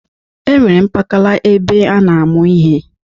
E nwere mpakala ebe a na-amụ ihe.